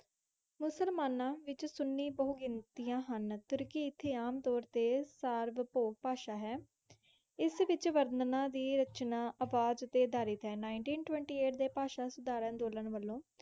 ਮੁਸਲਮਾਨਾਂ ਵਿੱਚ ਸੁੰਨੀ ਬਹੁਗਿਣਤੀਆਂ ਹਨ। ਤੁਰਕੀ ਇੱਥੇ ਆਮ ਤੌਰ 'ਤੇ ਸਾਰਵਭੌਮ ਭਾਸ਼ਾ ਹੈ। ਇਸ ਵਿੱਚ ਵਰਣਾਂ ਦੀ ਰਚਨਾ ਆਵਾਜ਼ ਉੱਤੇ ਆਧਾਰਿਤ ਹੈ। ninteen twenty eight ਦੇ ਭਾਸ਼ਾ ਸੁਧਾਰ ਅੰਦੋਲਨ ਵੱਲੋਂ